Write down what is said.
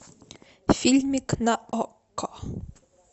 фильмик на окко